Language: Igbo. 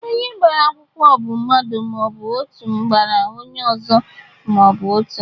Onye gbara akwụkwọ bụ mmadụ ma ọ bụ otu gbara onye ọzọ ma ọ bụ otu